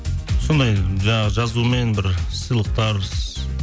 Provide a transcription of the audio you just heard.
сондай жаңағы жазумен бір сыйлықтар